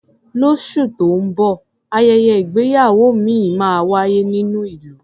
Lóṣù tó ń bọ̀, ayẹyẹ ìgbéyàwó ìmíì máa wáyé nínú ìlú.